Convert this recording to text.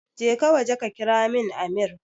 Jeka waje ka kiramin amir